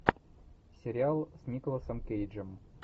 сериал с николасом кейджем